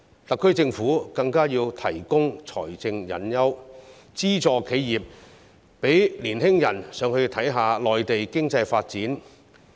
特區政府更要提供財政誘因，資助企業，讓青年人到內地看看當地經濟發展。